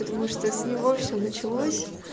потому что с него всё началось